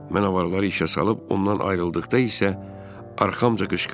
Mən avarları işə salıb ondan ayrıldıqda isə arxamca qışqırdı.